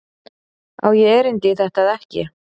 Á ég erindi í þetta eða ekki?